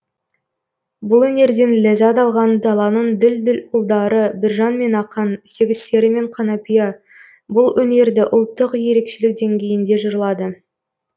бұл өнерден ләззат алған даланың дүл дүл ұлдары біржан мен ақан сегіз сері мен қанапия бұл өнерді ұлттық ерекшелік деңгейінде жырлады